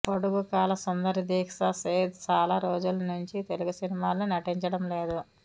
పొడుగు కాళ్ళ సుందరి దీక్షా సేథ్ చాలా రోజుల నుంచి తెలుగు సినిమాల్లో నటించడం లేదు